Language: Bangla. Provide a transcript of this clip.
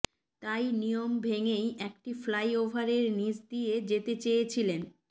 তাই নিয়ম ভেঙেই একটি ফ্লাইওভারের নীচ দিয়ে যেতে চেয়েছিলেন